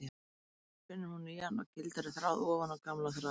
Um leið spinnur hún nýjan og gildari þráð ofan á gamla þráðinn.